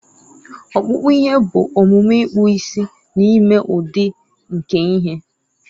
ọkpụkpụ ihe bụ omume ịkpụzi na ime udi nke ihe